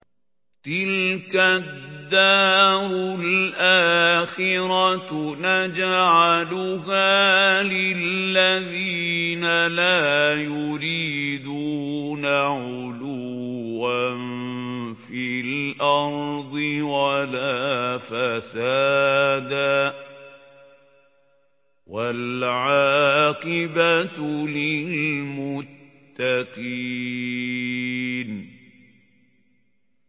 تِلْكَ الدَّارُ الْآخِرَةُ نَجْعَلُهَا لِلَّذِينَ لَا يُرِيدُونَ عُلُوًّا فِي الْأَرْضِ وَلَا فَسَادًا ۚ وَالْعَاقِبَةُ لِلْمُتَّقِينَ